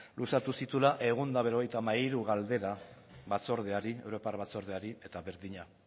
luzatu zituela ehun eta berrogeita hamairu galdera batzordeari europar batzordeari eta berdina